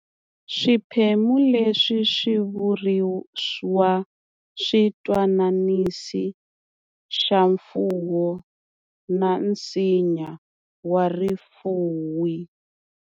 Swiphemu leswi swi vuriwa switwananisi swa mfuwo na nsinya wa rifuwi